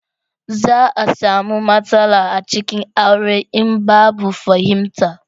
za a samu matsala a cikin aure in babu fahimta